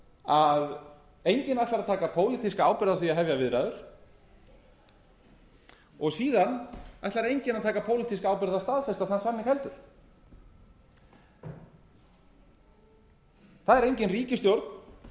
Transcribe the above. að enginn ætlar að taka pólitíska ábyrgð á því að hefja viðræður og síðan ætlar enginn að taka pólitíska ábyrgð á að staðfesta þann samning heldur það er engin ríkisstjórn